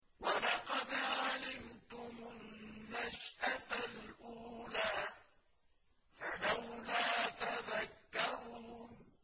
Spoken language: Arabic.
وَلَقَدْ عَلِمْتُمُ النَّشْأَةَ الْأُولَىٰ فَلَوْلَا تَذَكَّرُونَ